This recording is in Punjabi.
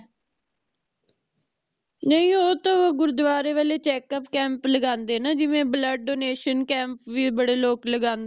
ਨੀ ਓਹ ਤਹ ਗੁਰਦਵਾਰੇ ਵਾਲੇ checkup camp ਲਗਾਂਦੇ ਹੈ ਨਾ ਜਿਵੇ blood donation camp ਵੀ ਬੜੇ ਲੋਕ ਲਗਾਂਦੇ